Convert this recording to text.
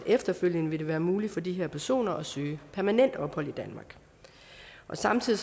det efterfølgende vil være muligt for de her personer at søge permanent ophold i danmark samtidig